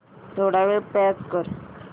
थोडा वेळ पॉझ कर